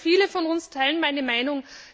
Ich weiß, viele von uns teilen meine Meinung.